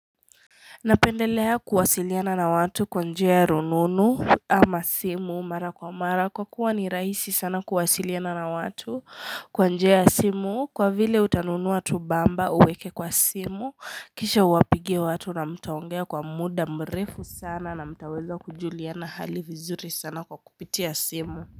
Napendelea kuwasiliana na watu kwanjia rununu ama simu mara kwa mara kwa kuwa ni rahisi sana kuwasiliana na watu kwanjia ya simu kwa vile utanunuwa tu bamba uweke kwa simu kisha uwapigie watu na mtaongea kwa muda mrefu sana na mtaweza kujuliana hali vizuri sana kwa kupitia simu.